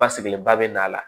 Basigilenba bɛ n'a la